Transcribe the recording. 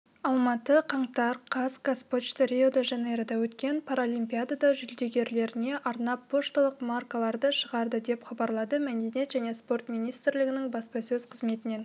алматы қаңтар қаз қазпочта рио-де жанейрода өткен паралимпиада жүлдегерлеріне арнап пошталық маркаларды шығарды деп хабарлады мәдениет және спорт министрлігінің баспасөз қызметінен